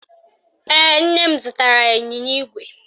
Ee, nne m zụtara ya ịnyịnya ígwè